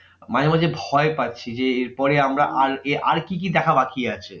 মাঝে মাঝে ভয় পাচ্ছি যে এরপরে আমরা আর কি কি দেখা বাকি আছে?